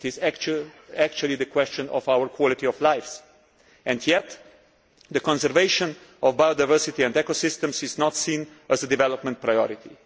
it is actually a question of our quality of life, and yet the conservation of biodiversity and ecosystems is not seen as a development priority.